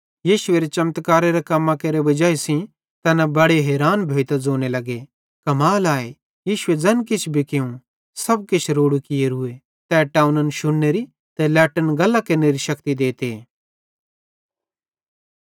यीशुएरे चमत्कारेरां कम्मां केरे वजाई सेइं तैना बड़े हैरान भोइतां ज़ोने लग्गे कमाल आए यीशुए ज़ैन किछ भी कियूं सब किछ रोड़ू कियोरूए तै टोव्नन शुन्नेरी ते लट्टन गल्लां केरनेरी शक्ति देते